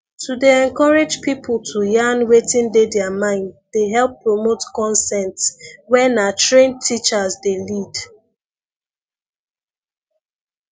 to dey encourage people to yarn wetin dey their mind dey help promote consent where na trained teachers dey lead